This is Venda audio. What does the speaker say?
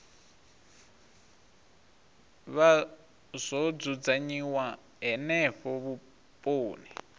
vha zwo dzudzanyiwa henefho vhuponi